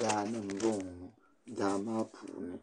Daani m bo ŋɔ mo daa maa puuni